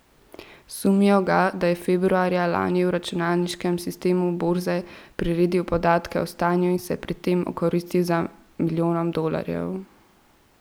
Sumijo ga, da je februarja lani v računalniškem sistemu borze priredil podatke o stanju in se pri tem okoristil za milijonom dolarjev.